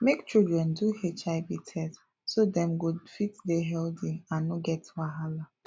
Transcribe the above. make children do hiv test so dem go fit dey healthy and no get wahala